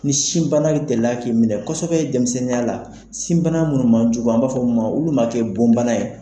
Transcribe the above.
Ni sin bana delila k'i minɛ kosɛbɛ denmisɛnninya la sin bana munnu man jugu an b'a f'o ma olu ma kɛ bon bana ye.